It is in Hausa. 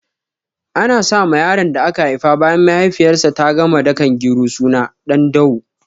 Ana sa ma yaron da aka haifa bayan mahaifiyar sa ta gama dakan gero suna Ɗandawo